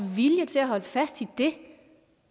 vilje til at holde fast i det